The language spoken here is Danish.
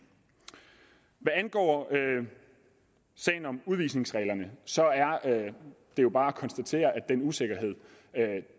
hvad angår sagen om udvisningsreglerne er det jo bare at konstatere at den usikkerhed